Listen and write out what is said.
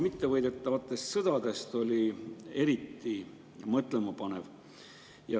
Mittevõidetavate sõdade analüüs oli eriti mõtlemapanev.